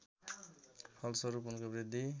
फलस्वरूप उनको वृद्धि